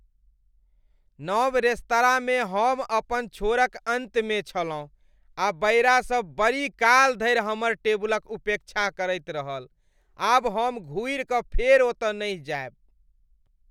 नव रेस्तराँमे हम अपन छोरक अन्तमे छलहुँ आ बयरासब बड़ीकाल धरि हमर टेबुलक उपेक्षा करैत रहल। आब हम घुरि कऽ फेर ओतऽ नहि जायब।